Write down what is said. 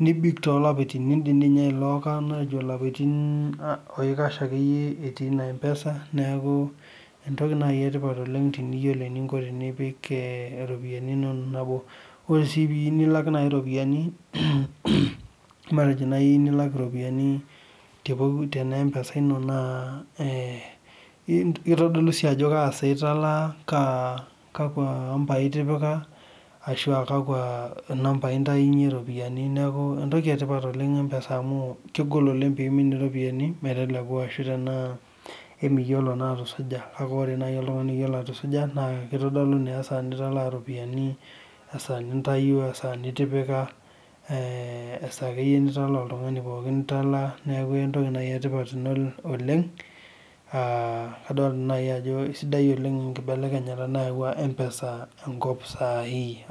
nibik toolapaitin. Nilok ilapaitin akeyie atii ina mpesa neeku entoki etipat naaji oleng' teneyiolo enipik iropiyiani inono. Ore sii teniyieu nilak, matejo naai teniyieu nilak iropiyiani tena mpesa ino naa, ee kitodolu sii ajo kasaa italaa kakwa ampai itipika ashu aa kakwa ambai itantayunye iropiyiani. Neeku entoki etipat oleng' mpesa amu kegol oleng' peeimin iropiyiani meteluku ashu anaa emiyiolo naa atusuja amu ore naaji oltungani oyiolo atusuja naa kitodolu naa esaa nitalaa iropiyiani asaa nintayuo esaa nitipika esaa akeyie nitalaa oltungani pookin. Neeku enetipat oleng' aa adolita ajo sidai enkibekenyata nayau mpesa enkop saai.